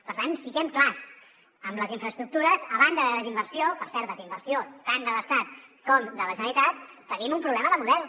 per tant siguem clars amb les infraestructures a banda de desinversió per cert desinversió tant de l’estat com de la generalitat tenim un problema de model